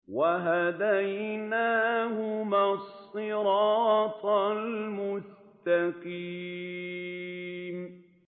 وَهَدَيْنَاهُمَا الصِّرَاطَ الْمُسْتَقِيمَ